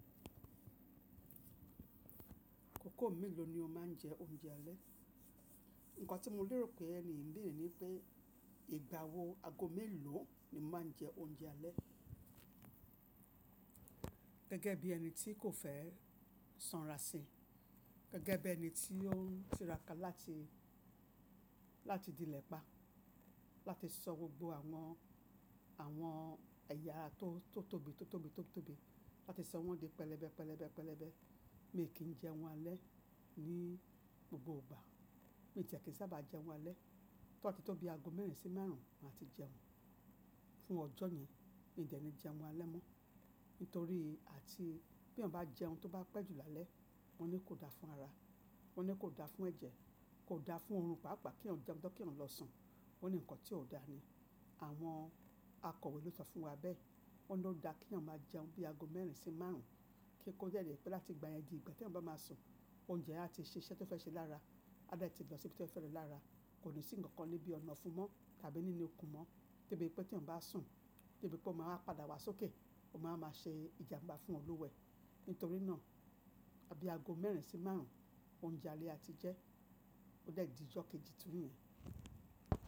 Akòkó mélòó ni o máa ń jẹ oúnjẹ alẹ́? Ǹkan tí mo lérò pé ẹni ń lò ní pé ìgbà wo ago mélòó ni máa ń jẹ oúnjẹ alẹ́. Gẹ́gẹ́ bí ẹni tí kò fẹ́ sanra sí, gẹ́gẹ́ bí ẹni tí ó ń tíràká láti, láti di lẹ̀pa, láti sọ gbogbo àwọn, àwọn ẹ̀yà tó, tó tóbi, tó tóbi, tó tóbi, láti sọ wọ́n di pẹlẹbẹ, pẹlẹbẹ, pẹlẹbẹ. Mi kì í jẹun alẹ́ ní gbogbo ìgbà. Mi tiẹ̀ kì í sábà jẹun alẹ́. Tó bàti tó bí ago mẹ́rin sí márùn ún máa ti jẹun. Fún ọjọ́ yẹn mi dẹ̀ ni jẹun alẹ́ mọ́. Nítorí àti bí eyan bá jẹun tó bá pẹ́jù lálẹ́, wọ́n ní kò da fún ara, wọ́n ní kò da fún ẹ̀jẹ̀, kò da fún oorun pàápàá kí eeyan jeun tan kí eeyan lọ sùn. Ó ní nǹkan tí ò da ni. Àwọn akọ̀wé ló sọ fún wa bẹ́ẹ̀. Wọ́n ní ó da kí eeyan máa jẹun bí ago mẹ́rin sí márùn ún kíi kó dè jẹ́ pé láti ìgbà yẹn di ìgbà tí eyan bá máa sùn, oúnjẹ yen á ti ṣẹ iṣẹ́ tó fẹ́ ṣe lára, á dẹ̀ ti lọ síbi tí ó fẹ́ lọ lára. Kò ní sí nǹkan nibí ọ̀nà ofún un mọ́ tàbí nínu ikun mọ́. Debí pé t'èèyàn bá sùn, debí pé ó máa wa padà wá sókè, ó máa wa máa ṣe ìjàmbá fún olúwa e. Nítorí náà, bí ago mẹ́rin sí márùn ún oúnjẹ alẹ́ a ti jẹ́ ó dè di ijọ́ kejì tun niyen.